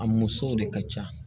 A musow de ka ca